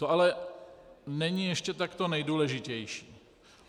To ale není ještě to nejdůležitější.